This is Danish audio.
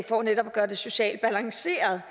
for netop at gøre det socialt balanceret